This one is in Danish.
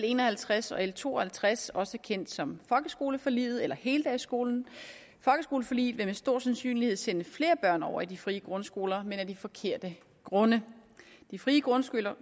en og halvtreds og l to og halvtreds også kendt som folkeskoleforliget eller heldagsskolen folkeskoleforliget vil med stor sandsynlighed sende flere børn over i de frie grundskoler men af de forkerte grunde de frie grundskoler